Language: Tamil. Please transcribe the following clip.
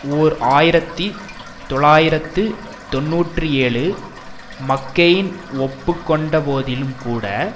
ஓர் ஆயிரத்தி தொள்ளாயிரத்து தொன்னூற்றி ஏழு மக்கெயின் ஒப்பு கொண்டபோதிலும்கூட